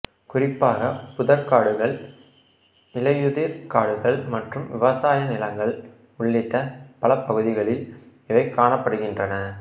குறிப்பாக புதர்க்காடுகள் இலையுதிர் காடுகள் மற்றும் விவசாய நிலங்கள் உள்ளிட்ட பலபகுதிகளில் இவை காணப்படுகின்றன